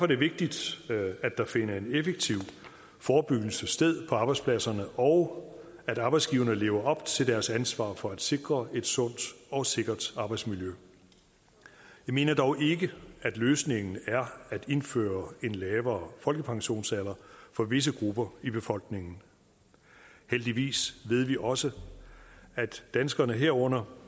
det vigtigt at der finder en effektiv forebyggelse sted på arbejdspladserne og at arbejdsgiverne lever op til deres ansvar for at sikre et sundt og sikkert arbejdsmiljø jeg mener dog ikke at løsningen er at indføre en lavere folkepensionsalder for visse grupper i befolkningen heldigvis ved vi også at danskerne herunder